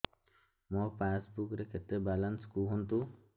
ମୋ ପାସବୁକ୍ ରେ କେତେ ବାଲାନ୍ସ କୁହନ୍ତୁ